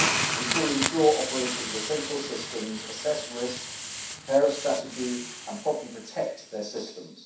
This will ensure operators of essential systems assess risk, prepare a strategy, and properly protect their systems.